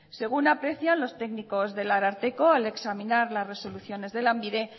según aprecian los técnicos del ararteko al examinar las resoluciones de lanbide